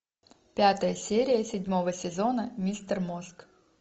пятая серия седьмого сезона мистер мозг